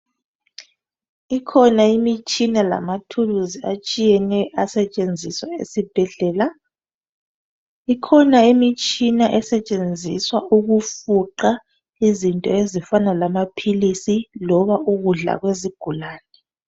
Ikhona imitshina lamathuluzi atshiyeneyo asetshenziswa eSibhedlela , ikhona imitshina esetshenziswa ukufuqa izinto ezifana lamaphilisi loba ukudla loba ukudla kwezigulane.